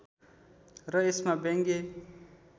र यसमा व्यङ्ग्य